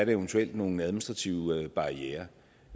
eventuelt er nogle administrative barrierer